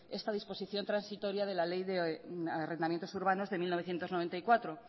esta disposición transitoria de la ley de arrendamientos urbanos de mil novecientos noventa y cuatro